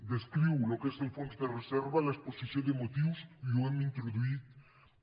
descriu el que és el fons de reserva en l’exposició de motius i ho hem introduït també